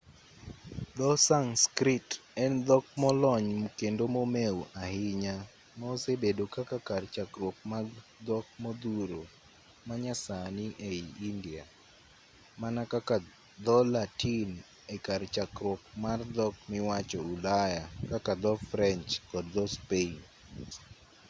dho-sanskrit en dhok molony kendo momeu ahinya ma osebedo kaka kar chakruok mag dhok modhuro manyasani ei india mana kaka dho-latin e kar chakruok mar dhok miwacho ulaya kaka dho-french kod dho-spain